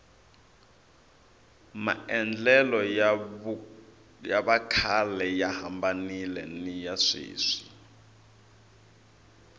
maendlelo ya vakhale ya hambanile niya sweswi